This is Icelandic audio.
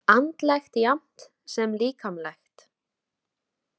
Andlegt jafnt sem líkamlegt?